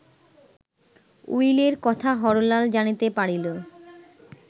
উইলের কথা হরলাল জানিতে পারিল